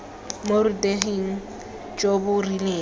mo boruteging jo bo rileng